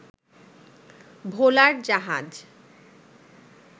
ভোলার জাহাজ